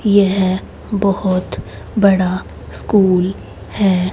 यह बहुत बड़ा स्कूल है।